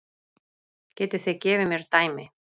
Getið þið gefið mér dæmi?